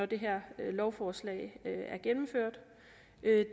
det her lovforslag